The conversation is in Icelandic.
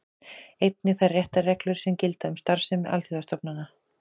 Einnig þær réttarreglur sem gilda um starfsemi alþjóðastofnana.